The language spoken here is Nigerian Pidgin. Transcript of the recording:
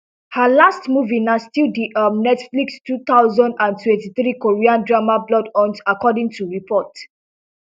her last movie na still di um netflix two thousand and twenty-three korean drama bloodhounds according to reports